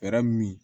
Fɛɛrɛ min